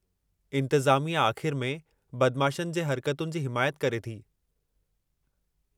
इंतज़ामिया आख़िर में बदमाशनि जे हर्कतुनि जी हिमायत करे थी।